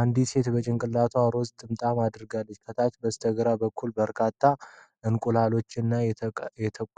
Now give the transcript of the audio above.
አንዲት ሴት በጭንቅላቷ ሮዝ ጥምጣም አድርጋለች። ከታች በስተግራ በኩል በርካታ እንቁላሎችና